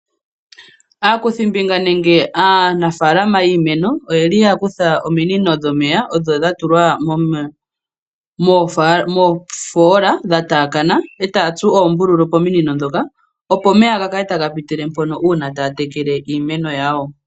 Aakuthimbinga nenge aanafalama yiimeno oye li ya kutha ominino dhomeya odho dha tulwa moofoola dha taakana e taya tsu oombululu pominino ndhoka, opo omeya ga kale taga pitile mpoka uuna taya tekele iimeno yawo.